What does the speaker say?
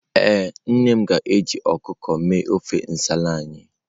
Ee, nne ga-eji ọkụkọ mee ofe nsala anyị.